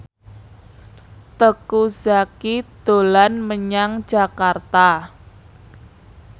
Teuku Zacky dolan menyang Jakarta